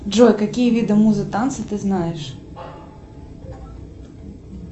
джой какие виды музы танца ты знаешь